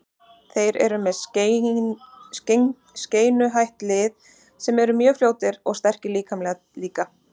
Þeir eru með skeinuhætt lið sem eru mjög fljótir og sterkir líkamlega líka.